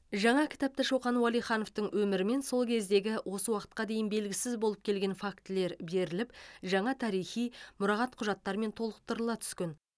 жаңа кітапта шоқан уәлихановтың өмірі мен сол кезеңдегі осы уақытқа дейін белгісіз болып келген фактілер беріліп жаңа тарихи мұрағат құжаттарымен толықтырыла түскен